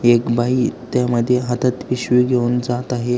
एक बाई त्या मध्ये हातात पिशवी घेऊन जात आहे.